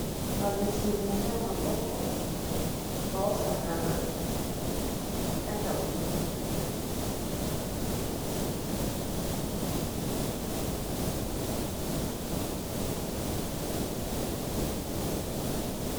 Babeti ndembo ya maboko baosakana na kata buto.